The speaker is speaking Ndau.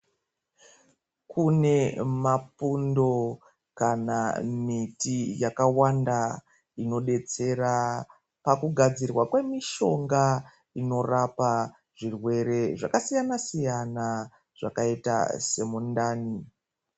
Kune mapundo kana miti yakawanda inobetsera pakugadzirwa kwemishonga inorapa zvirwere zvakasiyana-siyana, zvakaita semundani.